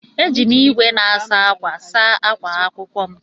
Éjị m ìgwè na-asa ákwà saa akwa akwụkwọ m.